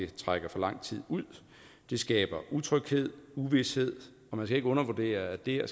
trækker for lang tid ud det skaber utryghed og uvished og man skal ikke undervurdere at det at